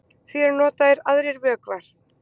Því eru notaðir aðrir vökvar.